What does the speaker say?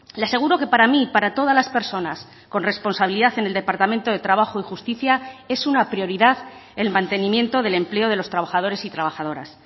le aseguro que para mí y para todas las personas con responsabilidad en el departamento de trabajo y justicia es una prioridad el mantenimiento del empleo de los trabajadores y trabajadoras